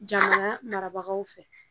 Jamana marabagaw fɛ